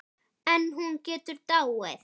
En hún getur dáið